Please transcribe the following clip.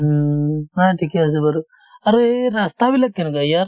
হুম haa ঠিকে আছে বাৰু আৰু এই ৰাস্তাবিলাক কেনেকুৱা ইয়াৰ